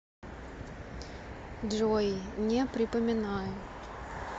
джой не припоминаю